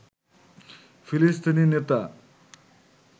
ফিলিস্তিনি নেতা